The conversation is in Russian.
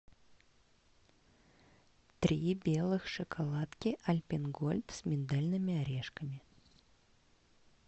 три белых шоколадки альпен гольд с миндальными орешками